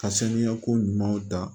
Ka sanuya ko ɲumanw ta